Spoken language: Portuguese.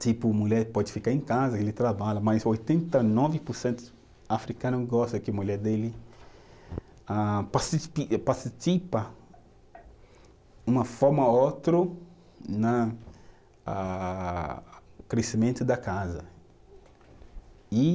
Tipo, mulher pode ficar em casa que ele trabalha, mas oitenta e nove por cento africano gosta que mulher dele ah participa uma forma ou outra no crescimento da casa. E